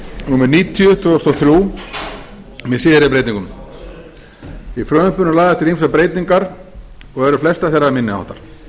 númer níutíu tvö þúsund og þrjú með síðari breytingum í frumvarpinu eru lagðar til ýmsar breytingar og eru flestar þeirra minni háttar